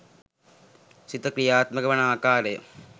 සිත ක්‍රියාත්මක වන ආකාරය,